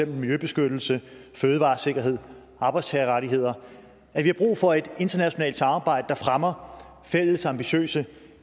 miljøbeskyttelse fødevaresikkerhed arbejdstagerrettigheder at vi har brug for et internationalt samarbejde der fremmer fælles ambitiøse